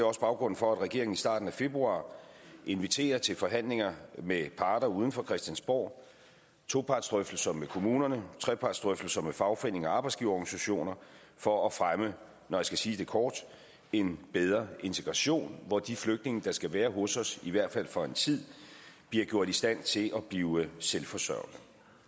også baggrunden for at regeringen i starten af februar inviterer til forhandlinger med parter uden for christiansborg topartsdrøftelser med kommunerne og trepartsdrøftelser med fagforeningerne og arbejdsgiverorganisationerne for at fremme når jeg skal sige det kort en bedre integration hvor de flygtninge der skal være hos os i hvert fald for en tid bliver gjort i stand til at blive selvforsørgende